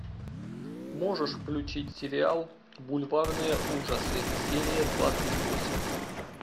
можешь включить сериал бульварные ужасы серия двадцать восемь